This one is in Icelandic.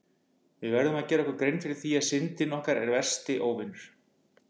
Við verðum að gera okkur grein fyrir því að Syndin er okkar versti óvinur!